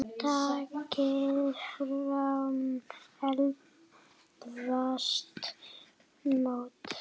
Takið fram eldfast mót.